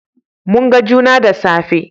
Mun ga juna da safe